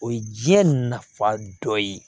O ye diɲɛ nafa dɔ ye